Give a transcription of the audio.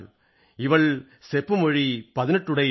ഇവൾ സെപ്പുമൊഴി പതിനെട്ടുടൈയാൾ